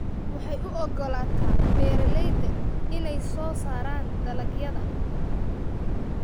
Waxay u ogolaataa beeralayda inay soo saaraan dalagyada